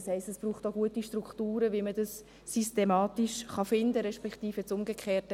Das heisst, es braucht auch gute Strukturen, wie man das systematisch finden kann, respektive das Umgekehrte: